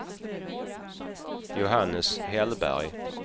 Johannes Hellberg